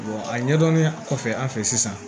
a ɲɛdɔnnen kɔfɛ an fɛ sisan